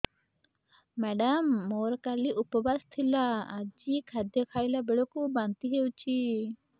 madam ମୋର କାଲି ଉପବାସ ଥିଲା ଆଜି ଖାଦ୍ୟ ଖାଇଲା ବେଳକୁ ବାନ୍ତି ହେଊଛି